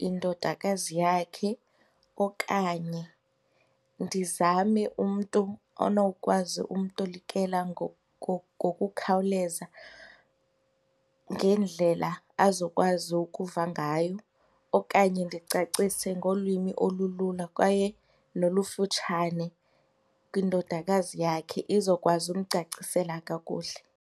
yindodakazi yakhe okanye ndizame umntu onokwazi umtolikela ngokukhawuleza ngendlela azokwazi ukuva ngayo okanye ndicacise ngolwimi olulula kwaye nolufutshane kwindodakazi yakhe, izokwazi ukumcacisela kakuhle.